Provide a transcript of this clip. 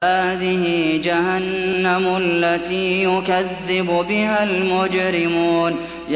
هَٰذِهِ جَهَنَّمُ الَّتِي يُكَذِّبُ بِهَا الْمُجْرِمُونَ